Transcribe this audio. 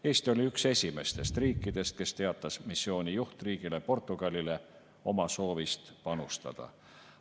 Eesti oli üks esimestest riikidest, kes teatas missiooni juhtriigile Portugalile oma soovist panustada.